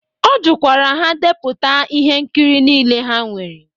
Ọ jụkwara ha depụta ihe nkiri niile ha nwere.